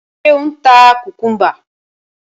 Ṣé ò ń ta kùkúḿbà?